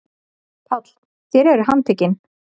PÁLL: Þér eruð handtekin.